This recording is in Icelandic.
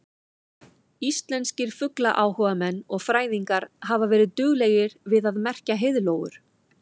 Íslenskir fuglaáhugamenn og fræðingar hafa verið duglegir við að merkja heiðlóur.